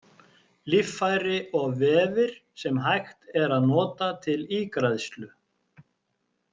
Líffæri og vefir sem hægt er að nota til ígræðslu.